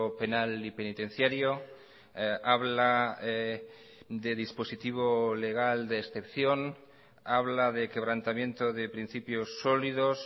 penal y penitenciario habla de dispositivo legal de excepción habla de quebrantamiento de principios sólidos